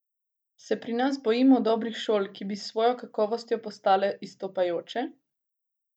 Se pri nas bojimo dobrih šol, ki bi s svojo kakovostjo postale izstopajoče?